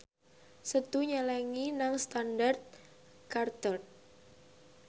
Setu nyelengi nang Standard Chartered